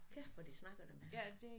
Kæft hvor de snakker dem her